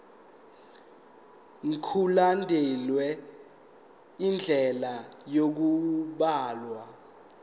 mkulandelwe indlela yokubhalwa